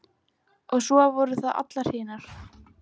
Og svo voru það allar hinar.